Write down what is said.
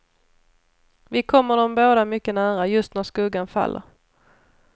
Vi kommer dem båda mycket nära, just när skuggan faller.